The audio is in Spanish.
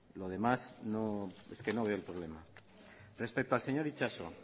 lo demás es que no veo el problema respecto al señor itxaso